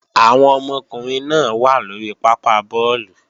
Àwọn ọmọkùnrin náà wà lóri pápá bọ́ọ̀lù